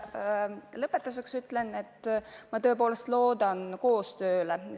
Lõpetuseks ütlen, et ma tõepoolest loodan koostööle.